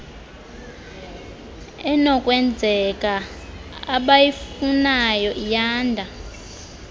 enokwenzeka abayifunayo iyanda